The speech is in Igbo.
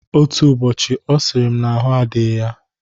Otu ụbọchị ọ sịrị m n'ahụ adịghị ya.